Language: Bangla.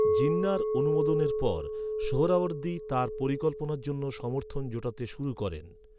জিন্নাহর অনুমোদনের পর, সোহরাওয়ার্দী তার পরিকল্পনার জন্য সমর্থন জোটাতে শুরু করেন।